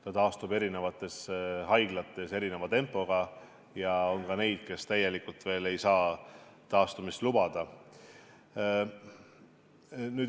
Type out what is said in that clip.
See taastub eri haiglates erineva tempoga ja on ka neid, kes täielikult ei saa veel taastumist lubada.